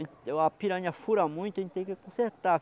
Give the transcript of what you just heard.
A piranha fura muito, a gente tem que consertar.